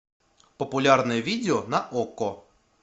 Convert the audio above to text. популярное видео на окко